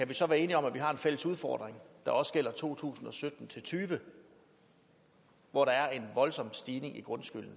vi så være enige om at vi har en fælles udfordring der også gælder for to tusind og sytten til tyve hvor der er en voldsom stigning i grundskylden